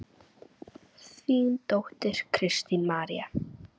Þín dóttir, Kristín María.